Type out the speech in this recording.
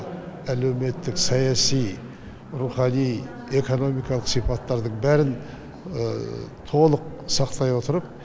әлеуметтік саяси рухани экономикалық сипаттардың бәрін толық сақтай отырып